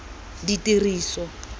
ditiriso